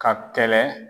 Ka kɛlɛ